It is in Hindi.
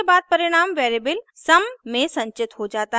उसके बाद परिणाम वेरिएबल सम sum में संचित हो जाता है